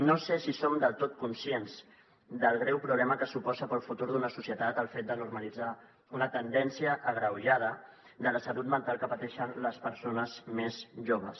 no sé si som del tot conscients del greu problema que suposa per al futur d’una societat el fet de normalitzar una tendència agreujada de la salut mental que pateixen les persones més joves